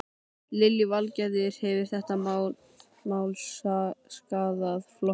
Lillý Valgerður: Hefur þetta mál skaðað flokkinn?